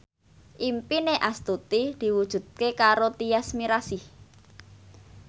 impine Astuti diwujudke karo Tyas Mirasih